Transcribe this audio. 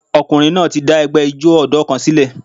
Ọkùnrin náà ti dá ẹgbẹ́ ijó ọ̀dọ́ kan sílẹ̀.